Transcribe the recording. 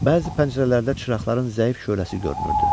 Bəzi pəncərələrdə çıraqların zəif şöləsi görünürdü.